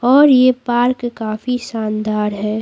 और यह पार्क काफी शानदार है।